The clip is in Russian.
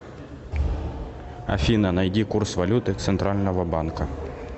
афина найди курс валюты центрального банка